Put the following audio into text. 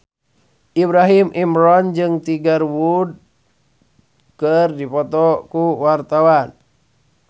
Ibrahim Imran jeung Tiger Wood keur dipoto ku wartawan